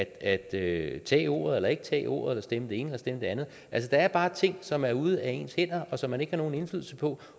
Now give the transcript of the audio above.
at tage tage ordet eller ikke tage ordet eller stemme det ene eller stemme det andet altså der er bare ting som er ude af ens hænder og som man ikke har nogen indflydelse på